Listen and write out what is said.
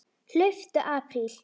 Hlauptu apríl.